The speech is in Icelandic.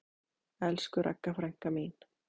Elsku Ragga frænka mín.